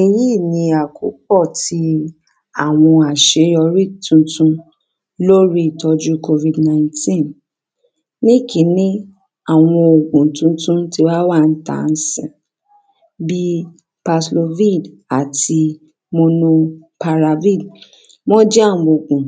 èyí ni àkópọ̀ ti àwọn àṣeyọrí tuntun lórí ìtọ́jú COVID 19 ní ìkíní àwọn ògùn tuntun ti wá wà ńta ńsìnyí bí Paxlovine àti monoparavine wọ́n jẹ́ àwọn ògùn